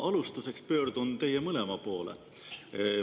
Ma alustuseks pöördun teie mõlema poole.